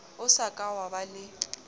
o sa ka waba le